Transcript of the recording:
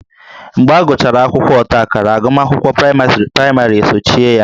Mgbe agụchara akwụkwọ ọtaakara agụmakwụkwọ praịmarị esochie ya